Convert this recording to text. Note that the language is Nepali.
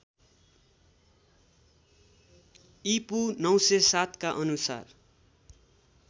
ईपू ९०७ का अनुसार